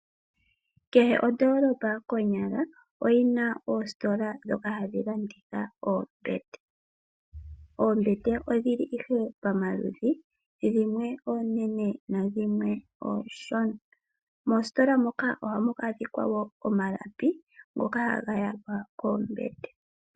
Kehe ondoolopa konyala oyina oositola ndhoka hadhi landitha oombete . Oombete odhili ihe pomaludhi dhimwe oonene nadhimwe oonshona . Moositola moka ohamu adhika woo omalapi ngoka haga yalwa koombete.